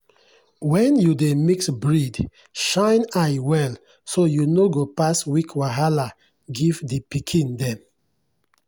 when you dey mix breed shine eye well so you no go pass weak wahala give the pikin dem.